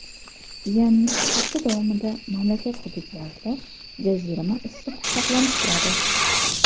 Ya’ni hafta davomida mamlakat hududlarida jazirama issiq saqlanib turadi.